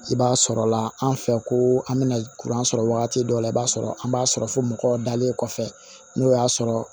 I b'a sɔrɔla an fɛ ko an bɛna sɔrɔ wagati dɔw la i b'a sɔrɔ an b'a sɔrɔ fo mɔgɔw dalen kɔfɛ n'o y'a sɔrɔ